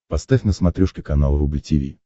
поставь на смотрешке канал рубль ти ви